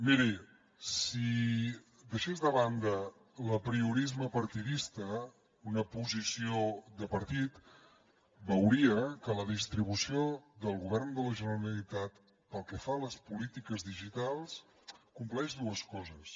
miri si deixés de banda l’apriorisme partidista una posició de partit veuria que la distribució del govern de la generalitat pel que fa a les polítiques digitals compleix dues coses